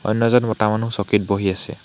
অন্য এজন মতা মানুহ চকীত বহি আছে।